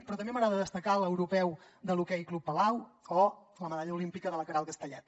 però també m’agrada destacar l’europeu de l’hoquei club palau o la medalla olímpica de la queralt castellet